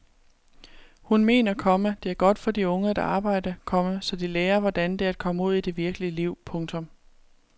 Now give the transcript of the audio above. Hun mener, komma det er godt for de unge at arbejde, komma så de lærer hvordan det er at komme ud i det virkelige liv. punktum